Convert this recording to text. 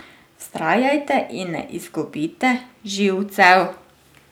Vztrajajte in ne izgubite živcev.